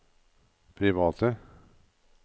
private